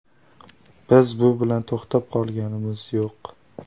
Biz bu bilan to‘xtab qolganimiz yo‘q.